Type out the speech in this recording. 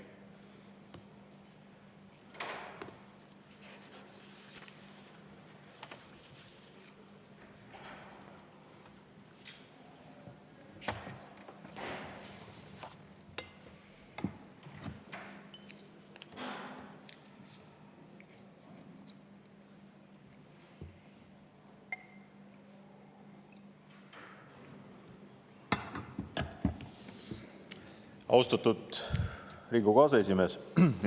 Austatud Riigikogu aseesimees!